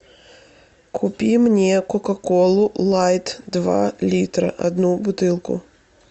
купи мне кока колу лайт два литра одну бутылку